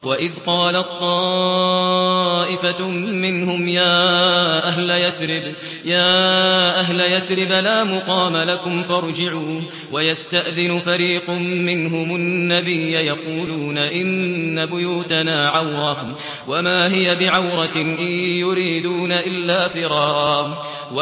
وَإِذْ قَالَت طَّائِفَةٌ مِّنْهُمْ يَا أَهْلَ يَثْرِبَ لَا مُقَامَ لَكُمْ فَارْجِعُوا ۚ وَيَسْتَأْذِنُ فَرِيقٌ مِّنْهُمُ النَّبِيَّ يَقُولُونَ إِنَّ بُيُوتَنَا عَوْرَةٌ وَمَا هِيَ بِعَوْرَةٍ ۖ إِن يُرِيدُونَ إِلَّا فِرَارًا